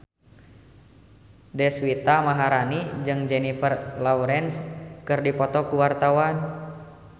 Deswita Maharani jeung Jennifer Lawrence keur dipoto ku wartawan